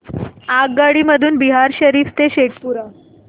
आगगाडी मधून बिहार शरीफ ते शेखपुरा